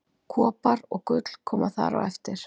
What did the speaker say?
Kopar og gull koma þar á eftir.